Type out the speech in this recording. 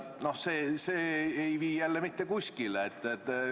No see ei vii jälle mitte kuskile.